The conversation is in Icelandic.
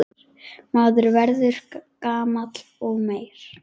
Maður verður gamall og meyr.